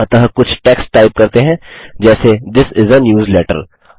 अतः कुछ text type करते हैं जैसे थिस इस आ न्यूजलेटर